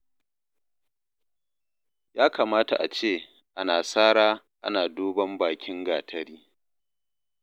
Ya kamata a ce ana sara ana duban bakin gatari.